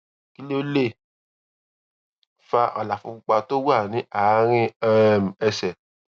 kí ló lè fa àlàfo pupa tó wà ní àárín um ẹsè